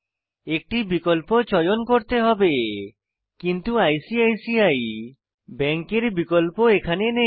একটি বিকল্প চয়ন করতে হবে কিন্তু আইসিআইসিআই ব্যাঙ্কের বিকল্প এখানে নেই